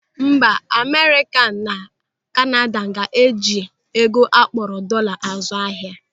Mba Amerịka na Kanada na-eji ego akpọrọ dọọla azụ ahịa.